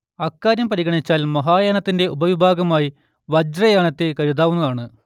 അക്കാര്യം പരിഗണിച്ചാൽ മഹായാനത്തിന്റെ ഉപവിഭാഗമായി വജ്രയാനത്തെ കരുതാവുന്നതാണ്